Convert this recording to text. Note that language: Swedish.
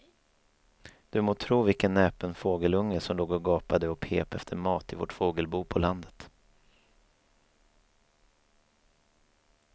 Du må tro vilken näpen fågelunge som låg och gapade och pep efter mat i vårt fågelbo på landet.